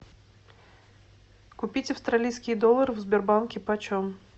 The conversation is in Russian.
купить австралийский доллар в сбербанке почем